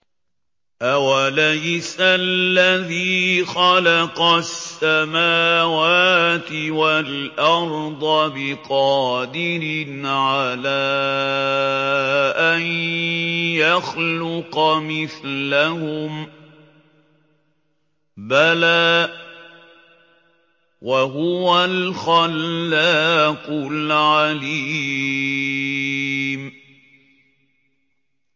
أَوَلَيْسَ الَّذِي خَلَقَ السَّمَاوَاتِ وَالْأَرْضَ بِقَادِرٍ عَلَىٰ أَن يَخْلُقَ مِثْلَهُم ۚ بَلَىٰ وَهُوَ الْخَلَّاقُ الْعَلِيمُ